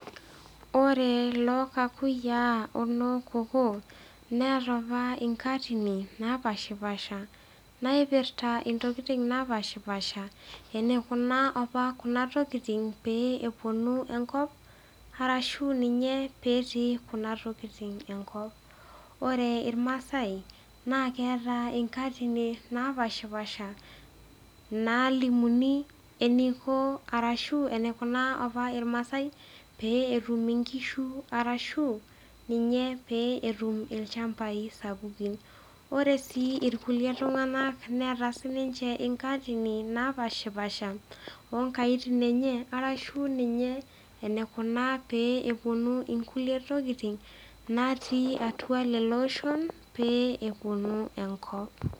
Ore lokakuyia ono kookoo neata apa nkatitin napashipasha naipirta ntokitin napashipasha sna niapa kuna tarashu ninye petii kuna tokitin enkopore irmada nalimuni eniko arashu eniko apa rmassai petum nkishu arashu ninye peetum lchambai sapukini ore sii irkulie tunganak meeta sinche nkaatitin naass napashipasha onkaiti enhe arrashu enikuna peponu nkulie tokitin natii atua loloshon peponu enkop.